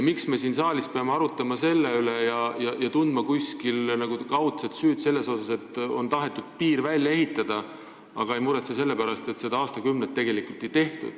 Miks me siin saalis peame arutama selle üle ja tundma nagu kaudset süüd selle pärast, et on tahetud piir välja ehitada, aga ei muretse selle pärast, et seda aastakümneid ei tehtud?